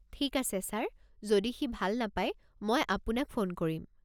ঠিক আছে ছাৰ, যদি সি ভাল নাপাই, মই আপোনাক ফোন কৰিম।